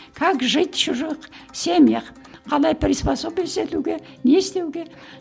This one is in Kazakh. как жить в чужих семьях қалай приспособиться етуге не істеуге